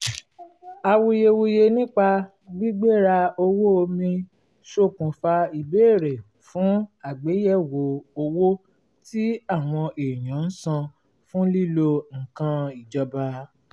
awuyewuye nípa gbigbera owó omi ṣokùnfà ìbéèrè fún àgbéyẹ̀wò owó tí àwọn èèyàn ń san fún lílo nnkan ìjọba